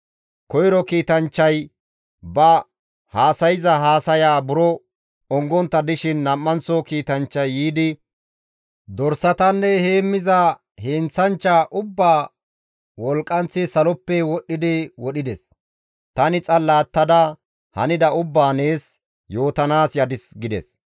Koyro kiitanchchay ba haasayza haasaya buro ongontta dishin nam7anththo kiitanchchay yiidi, «Dorsatanne heemmiza heenththanchcha ubbaa wolqqanth saloppe wodhdhidi wodhides; tani xalla attada hanida ubbaa nees yootanaas yadis» gides.